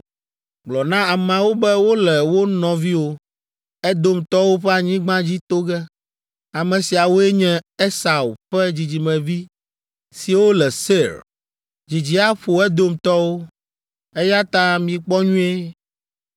Gblɔ na ameawo be wole wo nɔviwo, Edomtɔwo ƒe anyigba dzi to ge. Ame siawoe nye Esau ƒe dzidzimevi siwo le Seir. Dzidzi aƒo Edomtɔwo, eya ta mikpɔ nyuie.